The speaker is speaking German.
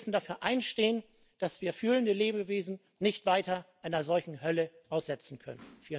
Wir müssen dafür einstehen, dass wir fühlende Lebewesen nicht weiter einer solchen Hölle aussetzen können.